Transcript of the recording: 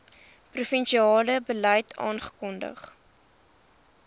provinsiale beleid afgekondig